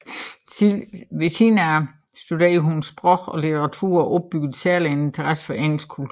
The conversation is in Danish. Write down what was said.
Sideløbende studerede hun sprog og litteratur og opbyggede særligt en interesse for engelsk kultur